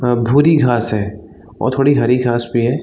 अ भूरी घास है और थोड़ी हरी घास भी है।